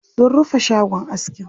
Sun rufe shagon askin.